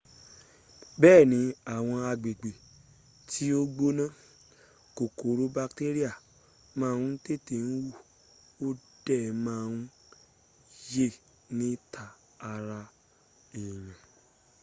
bee ni awon agbegbe ti o gbona kokoro bakteria ma n tete hu o de ma n ye nita ara eyan